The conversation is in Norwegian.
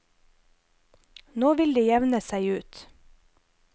Nå vil det jevne seg ut.